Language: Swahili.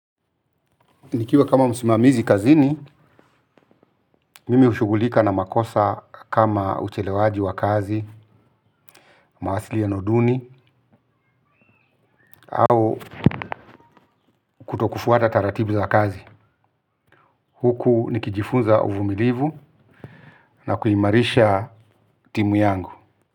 Nikiwa kama msimamizi kazini, mimi hushugulika na makosa kama uchelewaji wa kazi, mawasiliano duni au kutokufuata taratibu za kazi. Huku nikijifunza uvumilivu na kuimarisha timu yangu.